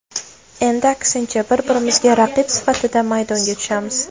Endi aksincha, bir-birimizga raqib sifatida maydonga tushamiz.